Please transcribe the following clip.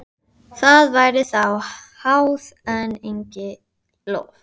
Þríeykið tvísteig í þögn stundarkorn, síðan kvöddu Íslendingarnir.